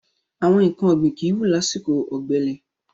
Àwọn nǹkan ọ̀gbìn kìí wù lásìkò ọ̀gbẹlẹ̀.